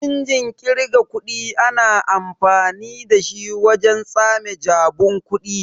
Injin kirgar kuɗi ana amfani dashi wajen tsame jabun kuɗi.